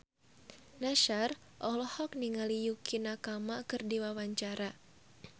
Nassar olohok ningali Yukie Nakama keur diwawancara